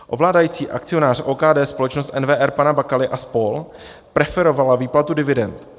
Ovládající akcionář OKD, společnost NWR pana Bakaly a spol., preferovala výplatu dividend.